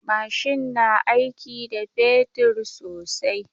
Mashin na aiki da fetur sosai.